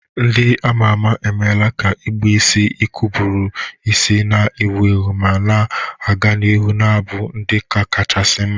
Ndi ama ama emela ka igbe isi ike buru isi na-ewu ewu ma na-aga n'ihu na-abụ ụdị ọkacha mmasị.